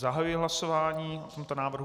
Zahajuji hlasování o tomto návrhu.